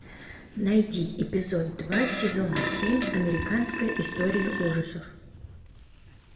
найди эпизод два сезона семь американская история ужасов